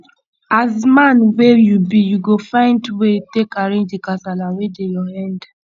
as man wey you be you go find way take arrange di kasala wey dey your end